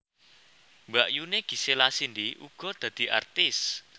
Mbakyuné Gisela Cindy uga dadi artis